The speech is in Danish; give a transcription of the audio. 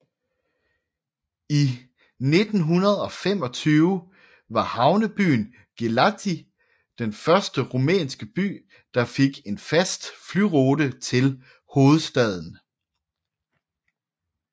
I 1925 var havnebyen Galaţi den første rumænske by der fik en fast flyrute til hovedstaden